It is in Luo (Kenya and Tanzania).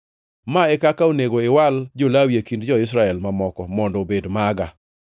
Ma e kaka onego iwal jo-Lawi e kind jo-Israel mamoko mondo obed maga.